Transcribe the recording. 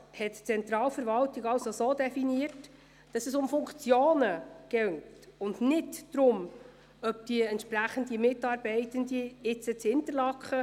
Wenn die Regierung es anders handhaben will, dann darf sie das bei einer Planungserklärung.